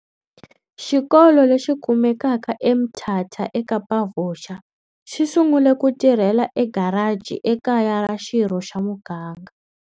Xikolo lexi kumekaka eMthatha eKapavuxa, xi sungule ku tirhela egaraji ekaya ra xirho xa muganga